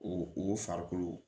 O o farikolo